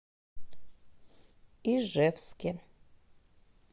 ижевске